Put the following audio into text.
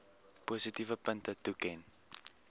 positiewe punte toeken